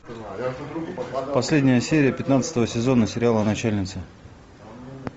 последняя серия пятнадцатого сезона сериала начальницы